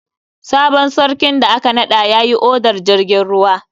Sabon sarkin da aka naɗa yayi odar jirgin ruwa.